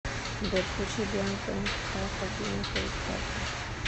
сбер включи бьянка энд птаха бьянка и птаха